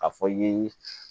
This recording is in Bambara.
A fɔ i ye